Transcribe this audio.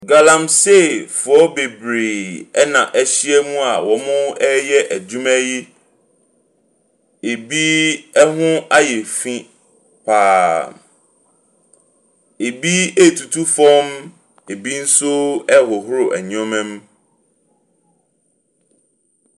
Galamseyfoɔ bebree ɛna ɛhyia mu a ɔɔyɛ adwuma yi. Ebi ɛho ayɛ finn paa. Ebi etutu fam, ebi ɛnso ɛhohoro nneɛma mu.